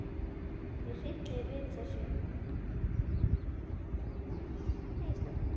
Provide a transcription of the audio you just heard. Mig hryllir við þessu.